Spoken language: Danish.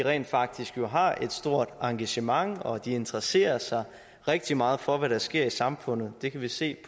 rent faktisk har et stort engagement og at de interesserer sig rigtig meget for hvad der sker i samfundet det kan vi se